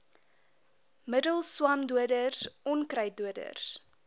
middels swamdoders onkruiddoders